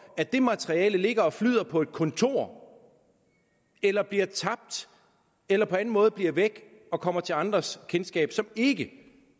at det materiale ligger og flyder på et kontor eller bliver tabt eller på anden måde bliver væk og kommer til andres kendskab som ikke